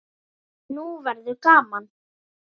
Nú verður gaman!